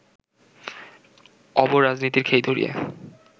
অব-রাজনীতির খেই ধরিয়ে